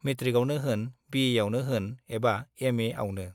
मेट्रिकआवनो होन, बिएआवनो होन एबा एमएआवनो